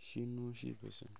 ishinu shibesemu